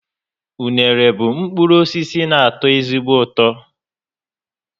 Unere bụ mkpụrụ osisi na ato ezigbo ụtọ